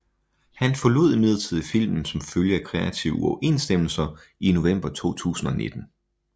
Han forlod imidlertid filmen som følge af kreative uoverensstemmelser i november 2019